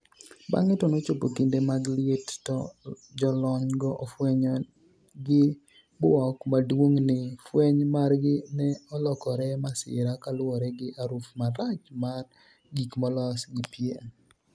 bang'e to nochopo kinde mag liet to jolony go ofwenyo gi buok maduong' ni fweny margi ne olokore masira kaluwore gi aruf marach mar gik molos gi pien